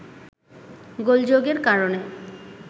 গোলযোগের কারণে